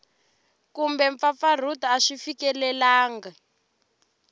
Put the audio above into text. kumbe mpfampfarhuto a swi fikelelangi